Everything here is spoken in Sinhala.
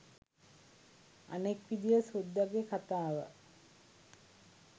අනෙක් විදිය සුද්දගෙ කතාව